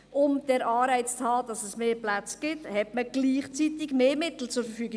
Um den Anreiz zu haben, dass es mehr Plätze gibt, stellte man gleichzeitig mehr Mittel zur Verfügung.